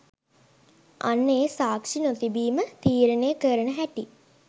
අන්න ඒ 'සාක්ෂි නොතිබීම'තීරණය කරන හැටි